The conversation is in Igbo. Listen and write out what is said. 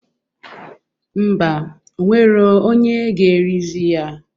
Ḿbà, onwero onye ga-erizi ya